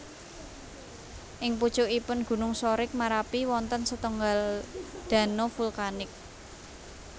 Ing pucukipun gunung Sorik Marapi wonten setunggal dano vulkanik